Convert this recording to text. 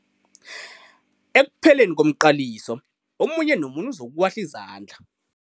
Ekupheleni komqaliso omunye nomunye uzokuwahla izandla.